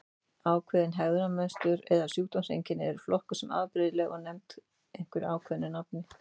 Ákveðin hegðunarmynstur eða sjúkdómseinkenni eru flokkuð sem afbrigðileg og nefnd einhverju ákveðnu nafni.